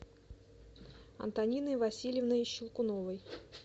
антониной васильевной щелкуновой